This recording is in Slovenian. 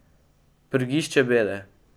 Prgišče bede!